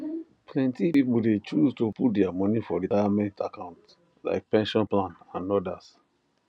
plenty people de choose to put their money for retirement accounts like pension plan and others